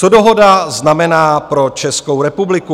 Co dohoda znamená pro Českou republiku.